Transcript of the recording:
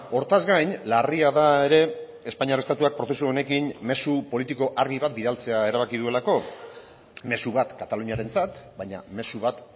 hortaz gain larria da ere espainiar estatuak prozesu honekin mezu politiko argi bat bidaltzea erabakia duelako mezu bat kataluniarentzat baina mezu bat